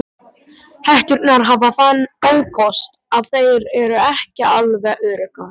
Hetturnar hafa þann ókost að þær eru ekki alveg öruggar.